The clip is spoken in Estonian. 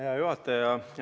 Hea juhataja!